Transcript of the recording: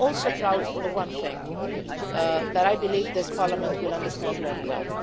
UN. I am also proud of one thing that I believe this Parliament will understand very